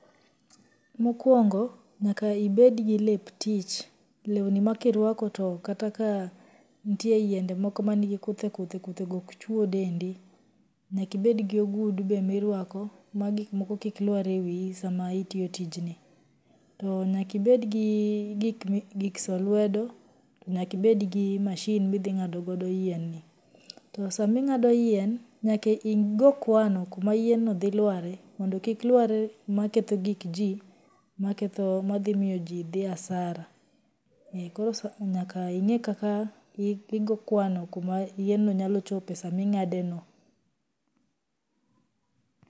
Mokwongo, nyaka ibed gi lep tich, lewni ma kirwako to kata ka nitie yiende moko ma nigi kuthe kuthe kuthego ok chuo dendi, nyaka ibed gi ogudu be ma irwako ma gikmoko kik lwar e wiyi sama itiyo tijni, to nyaka ibedgi gik mi giksoyo lwedo to nyaka ibedgi machine ma idhing'ado go yien no, to saa ma ing'ado yien, nyaka igoo kwano kuma yienno dhi lware mondo kik lware kuma ketho gik jii ma ketho ma dhimiyo jii dhii asara. Koro nyaka ing'ee kaka igoo kwano kuma yienno nyalochope sama ing'ado yienno